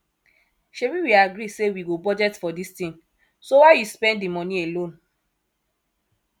shebi we agree say we go budget for dis thing so why you spend the money alone